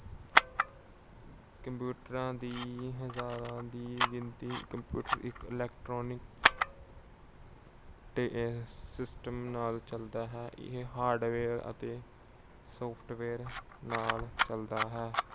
ਕੰਪਿਊਟਰਾਂ ਦੀ ਹਜਾਰਾ ਦੀ ਗਿਣਤੀ- computer ਇੱਕ electronic ਤੇ system ਨਾਲ ਚੱਲਦਾ ਹੈ। ਇਹ hardware ਅਤੇ software ਨਾਲ ਚੱਲਦਾ ਹੈ।